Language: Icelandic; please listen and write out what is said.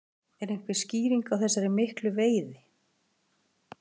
En hver er skýringin á þessari miklu veiði?